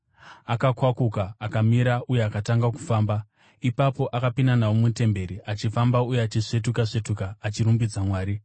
Akakwakuka, akamira, uye akatanga kufamba. Ipapo akapinda navo mutemberi, achifamba uye achisvetuka-svetuka, achirumbidza Mwari.